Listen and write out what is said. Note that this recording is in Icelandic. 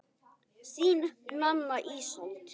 Þín, Nanna Ísold.